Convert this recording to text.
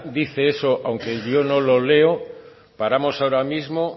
dice eso aunque yo no lo leo paramos ahora mismo